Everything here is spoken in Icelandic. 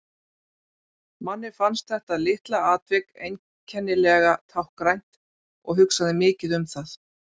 Manni fannst þetta litla atvik einkennilega táknrænt og hugsaði mikið um það.